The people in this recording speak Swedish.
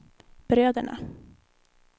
bröderna